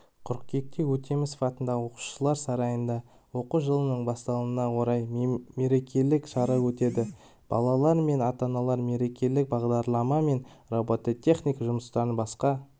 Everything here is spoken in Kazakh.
қыркүйекте өтемісов атындағы оқушылар сарайында оқу жылының басталуына орай мерекелік шара өтеді балалар мен ата-аналар мерекелік бағдарлама мен робототехника жұмыстарын басқа